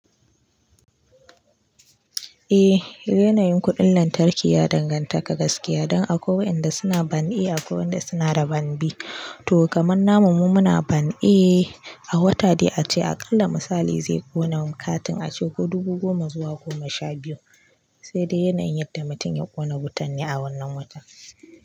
Eh, yanayin kuɗin lantarki ya danganta ka gaskiya don akwai waɗanda suna ban e akwai waɗanda suna da ban B. To kamar namu mu muna ban e a wata dai ace aƙalla misali zai ƙona katin ace ko dubu goma zuwa goma sha biyu, sai dai yanayin yadda mutum ya ƙona wutan ne a wannan watan.